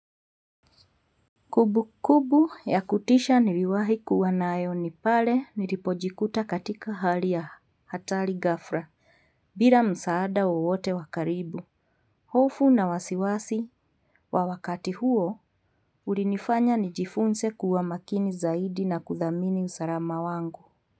Kubu kubu ya kutisha niliwahi kuwa naayo ni pale nilipojikuta katika hali ya hatali gafra bila msaada wowote wakaribu hofu na wasiwasi wa wakati huo ulinifanya nijifunze kuwa makini zaidi na kuthamini msalama wangu.